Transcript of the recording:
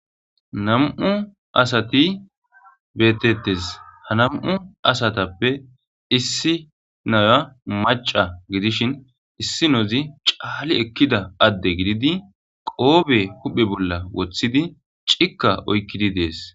nam7u asati beetettes ha nam7u asatappe issi naya maca gidishin issi nozi caali ekkida adde gididi qoobe huphe bolla woththidi cikka oykkidi dees